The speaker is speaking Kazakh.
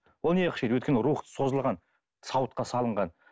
ол неге қышиды өйткені рух созылған сауытқа салынған